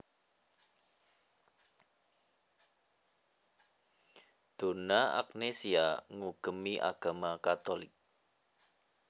Donna Agnesia ngugemi agama Katolik